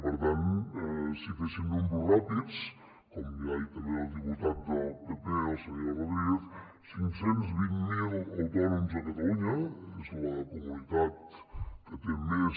per tant si féssim números ràpids com ja ha dit també el diputat del pp el senyor rodríguez cinc cents i vint miler autònoms a catalunya és la comunitat que té més